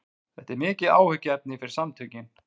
Þetta er mikið áhyggjuefni fyrir samtökin